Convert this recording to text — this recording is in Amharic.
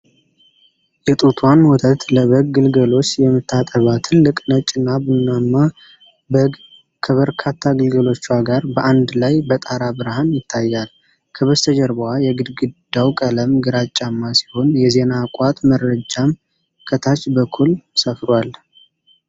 የጡትዋን ወተት ለበግ ግልገሎች የምታጠባ ትልቅ ነጭና ቡናማ በግ ከበርካታ ግልገሎቿ ጋር በአንድ ላይ በጠራ ብርሃን ይታያል። ከበስተጀርባዋ የግድግዳው ቀለም ግራጫማ ሲሆን፣ የዜና ቋት መረጃም ከታች በኩል ሰፍሯል።